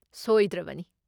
ꯁꯣꯏꯗ꯭ꯔꯕꯅꯤ꯫